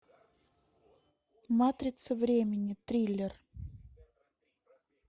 матрица времени триллер